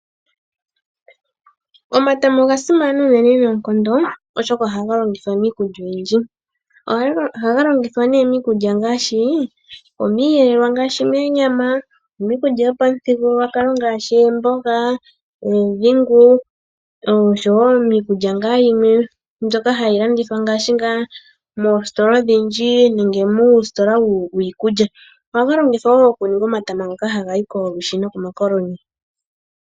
Omatama oga simana uunene noonkondo, oshoka oha ga longithwa miikulya oyindji. Oha ga longithwa nee miikulya ngaashi, omiiyelelwa ngaashi meenyama, omiikulya yopamuthigululwakalo ngaashi, eemboga, eedhingu nosho woo miikulya ngaa yimwe mbyoka ha yi landithwa ngaashi ngaa moositola odhindji nenge muusitola wiikulya. Oha ga longithwa woo okuninga omatama ngoka ha gayi komalwishi nokomakoloni.